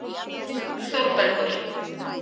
Þórbergur